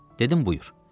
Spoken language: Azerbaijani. Dedim, buyur.